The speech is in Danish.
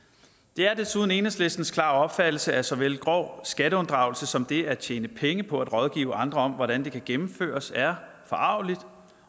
det er desuden enhedslistens klare opfattelse at såvel grov skatteunddragelse som det at tjene penge på at rådgive andre om hvordan det kan gennemføres er forargeligt